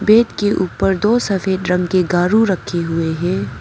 Bed के ऊपर दो सफेद रंग के गारू रखे हुए हैं।